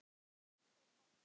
og pabbi.